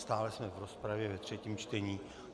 Stále jsme v rozpravě ve třetím čtení.